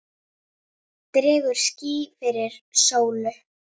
Dregur ský fyrir sólu!